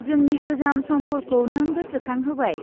जोंनि गोजाम समफोरखौ नों गोसोखांहोबाय।